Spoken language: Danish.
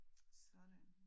Sådan